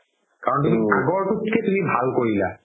কাৰণ তুমি আগৰতোত কে ভাল কৰিলা